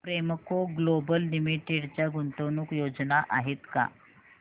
Premco global limited च्या गुंतवणूक योजना आहेत का